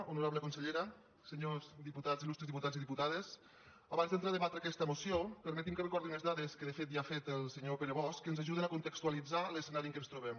honorable consellera senyors diputats il·lustres diputats i diputades abans d’entrar a debatre aquesta moció permetin que recordi unes dades que de fet ja ho ha fet el senyor pere bosch que ens ajuden a contextualitzar l’escenari en què ens trobem